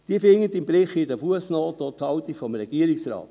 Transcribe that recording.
Sie finden im Bericht in den Fussnoten auch die Haltung des Regierungsrates.